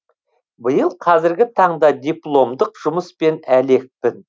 биыл қазіргі таңда дипломдық жұмыспен әлекпін